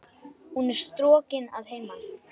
Hún er strokin að heiman.